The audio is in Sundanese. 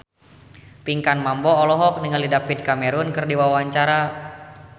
Pinkan Mambo olohok ningali David Cameron keur diwawancara